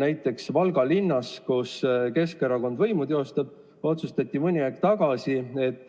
Näiteks Valga linnas, kus Keskerakond võimu teostab, otsustati mõni aeg tagasi, et